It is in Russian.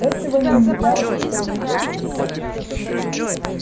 этого нельзя утаить от меня